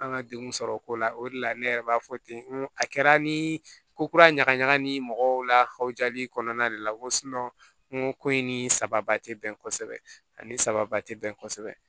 An ka degun sɔrɔ o ko la o de la ne yɛrɛ b'a fɔ ten ko a kɛra ni ko kura ɲagaɲaga ni mɔgɔw lahawjali kɔnɔna de la ko n ko ko in ni sababa tɛ bɛn kosɛbɛ ani sababa tɛ bɛn kosɛbɛ